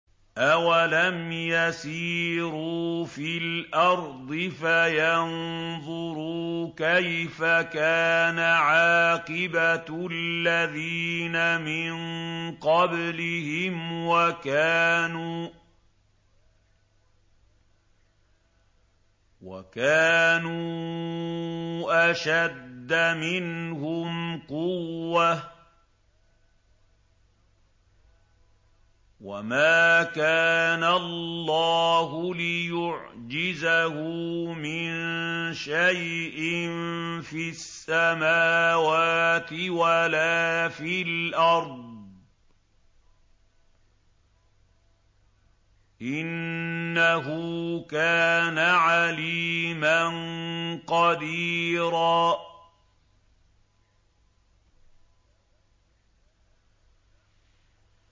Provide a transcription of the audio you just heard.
أَوَلَمْ يَسِيرُوا فِي الْأَرْضِ فَيَنظُرُوا كَيْفَ كَانَ عَاقِبَةُ الَّذِينَ مِن قَبْلِهِمْ وَكَانُوا أَشَدَّ مِنْهُمْ قُوَّةً ۚ وَمَا كَانَ اللَّهُ لِيُعْجِزَهُ مِن شَيْءٍ فِي السَّمَاوَاتِ وَلَا فِي الْأَرْضِ ۚ إِنَّهُ كَانَ عَلِيمًا قَدِيرًا